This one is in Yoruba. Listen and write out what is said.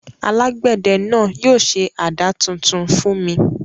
Alágbẹ̀dẹ náà yóò ṣe àdá tuntun fún mi.